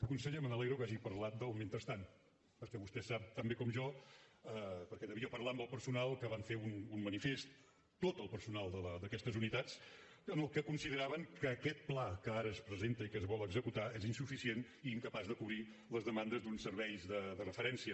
conseller me n’alegro que hagi parlat del mentrestant perquè vostè sap tan bé com jo perquè devia parlar amb el personal que van fer un manifest tot el personal d’aquestes unitats en què consideraven que aquest pla que ara es presenta i que es vol executar és insuficient i incapaç de cobrir les demandes d’uns serveis de referència